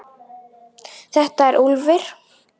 Þetta er Úlfur.